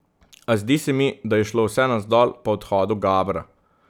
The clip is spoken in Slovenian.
A zdi se mi, da je šlo vse navzdol po odhodu Gabra.